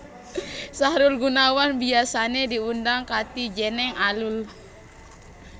Sahrul Gunawan biyasané diundang kanthi jeneng Alul